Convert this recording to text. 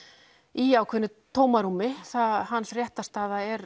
í ákveðnu tómarúmi hans réttarstaða er